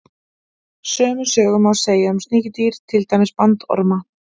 Sömu sögu má segja um sníkjudýr, til dæmis bandorma.